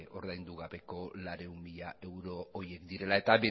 ordaindu gabeko laurehun mila euro horiek direla eta